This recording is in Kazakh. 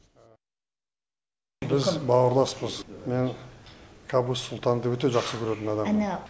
біз бауырласпыз мен кабуз сұлтанды өте жақсы көретін адаммын